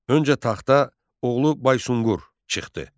Öncə taxta oğlu Baysunqur çıxdı.